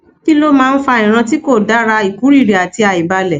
kí ló máa ń fa ìran ti ko dara ikuriri àti àìbalẹ